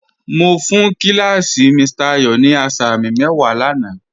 Mo fún kí làsí Mr. Ayo ní àsàmì mẹ́wà láńà.